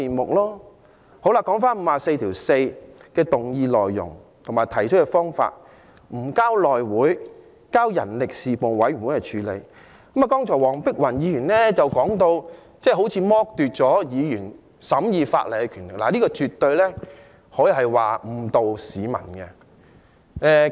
就根據《議事規則》第544條動議的議案內容，即《條例草案》不交內會而交由人力事務委員會處理，黃碧雲議員剛才說成是剝奪議員審議法例的權力，但這絕對是誤導市民的。